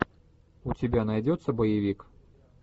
у тебя найдется боевик